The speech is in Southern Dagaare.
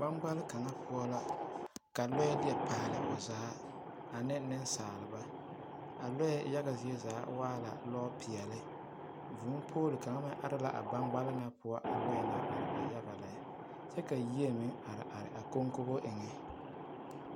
Gbaŋɡbale kaŋa poɔ la ka lɔɛ deɛ paale o zaa ane nensaaleba a lɔɛ yaɡa zie zaa waa la lɔpeɛle vūūpool kaŋa meŋ are la a ɡbaŋɡbale na poɔ a lɔɛ na are a yaɡa lɛ kyɛ ka yie meŋ areare a koŋkobo na eŋɛ.